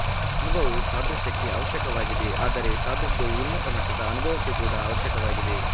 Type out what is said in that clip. ಅನುಭವವು ಸಾದೃಶ್ಯಕ್ಕೆ ಅವಶ್ಯಕವಾಗಿದೆ ಆದರೆ ಸಾದೃಶ್ಯವು ಉನ್ನತಮಟ್ಟದ ಅನುಭವಕ್ಕೆ ಕೂಡ ಅವಶ್ಯಕವಾಗಿದೆ